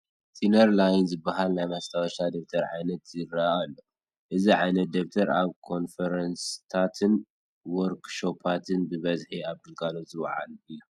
ስነር ላይን ዝበሃል ናይ ማስታወሻ ደፍተር ዓይነት ይርአ ኣሎ፡፡ እዚ ዓይነት ደፍተር ኣብ ኮንፈረንስታትን ዎርክሾፓትን ብበዝሒ ኣብ ግልጋሎት ዝውዕል እዩ፡፡